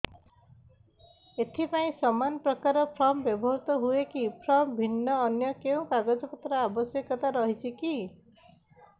ଏଥିପାଇଁ ସମାନପ୍ରକାର ଫର୍ମ ବ୍ୟବହୃତ ହୂଏକି ଫର୍ମ ଭିନ୍ନ ଅନ୍ୟ କେଉଁ କାଗଜପତ୍ରର ଆବଶ୍ୟକତା ରହିଛିକି